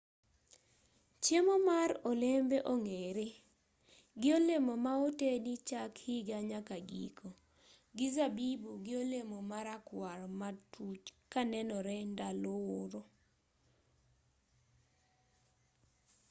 chiemo mar olembe ong'ere gi olemo ma otedi chak higa nyaka giko gi zabibu gi olemo marakwar matuch kanenore ndalo oro.